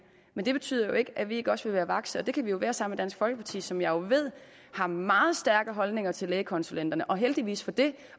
men det betyder jo ikke at vi ikke også vil være vakse og det kan vi jo være sammen med dansk folkeparti som jeg ved har meget stærke holdninger til lægekonsulenterne og heldigvis for det